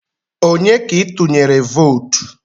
Onye ka itunyere vootu?